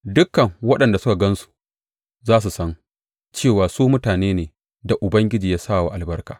Dukan waɗanda suka gan su za su san cewa su mutane ne da Ubangiji ya sa wa albarka.